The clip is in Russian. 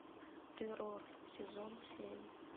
террор сезон семь